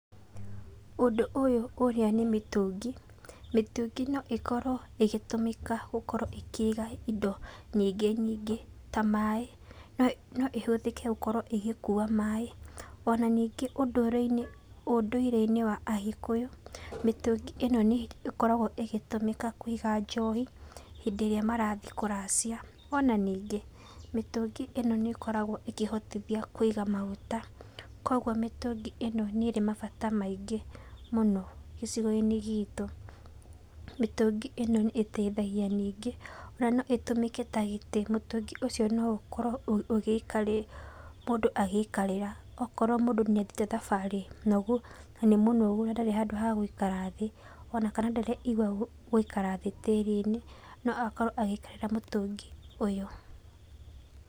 Ũndũ ũyũ ũrĩa nĩ mĩtũngĩ, mĩtũngĩ no ĩkorwo ĩgĩtũmĩka gũkorwo ĩkĩiga indo nyingĩ nyingĩ ta maĩ, no ĩhũthĩke gũkorwo ĩgĩkua maĩ, o na ningĩ ũndũire-inĩ wa agĩkũyũ, mĩtũngĩ ĩno nĩ ĩkoragwo ĩgĩtũmĩka kũiga njohi hĩndĩ ĩrĩa marathiĩ kũracia, o na ningĩ, mĩtũngi ĩno nĩ ĩkoragwo ĩkĩhotithia kũiga maguta, koguo mĩtũngi ĩno nĩ ĩrĩ mabata maingĩ mũno gĩcigo-inĩ gitũ. Mĩtũngi ĩno nĩ ĩteithagia ningĩ, o na no ĩtũmĩke ta gĩtĩ mũtũngĩ ũcio no ũkorwo mũndũ agĩikarĩra okorwo mũndũ nĩ athire thabarĩ noguo nĩ mũnogu na ndarĩ handũ ha gũikara thĩ, o na kana ndareigua gũikara thĩ tĩri-inĩ, no akorwo agĩikarĩra mũtũngi ũyũ.